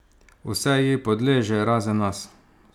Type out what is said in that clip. Vse ji podleže, razen nas.